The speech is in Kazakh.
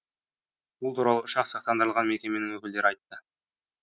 бұл туралы ұшақ сақтандырылған мекеменің өкілдері айтты